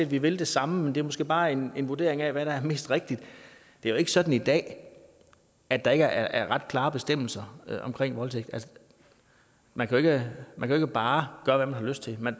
vi vil det samme men det er måske bare en vurdering af hvad der er mest rigtigt det er jo ikke sådan i dag at der ikke er ret klare bestemmelser omkring voldtægt man kan ikke bare gøre hvad man har lyst til